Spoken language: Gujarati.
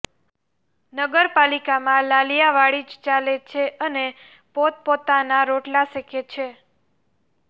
નગરપાલિકામાં લાલિયાવાડી જ ચાલે છે અને પોતપોતાના રોટલા શેકે છે